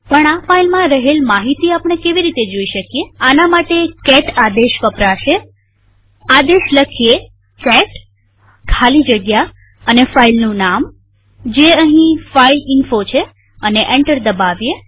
પણ આ ફાઈલમાં રહેલ માહિતી આપણે કેવી રીતે જોઈ શકીએઆના માટે કેટ આદેશ વપરાશેઆદેશ લખીએ કેટ ખાલી જગ્યા અને ફાઈલનું નામજે અહીં ફાઇલઇન્ફો છે અને એન્ટર દબાવીએ